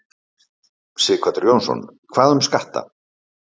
Sighvatur Jónsson: Hvað um skatta?